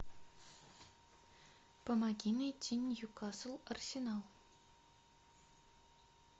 помоги найти ньюкасл арсенал